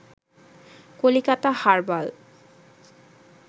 Calcutta herbal